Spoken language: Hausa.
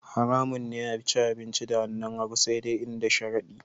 Haramun ne a ci abinci da hannun hagu sai dai in da sharadi